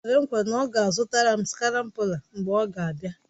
O kwere nkwa na ọ ga-azụtara m skrambụla mgbe ọ na-abịa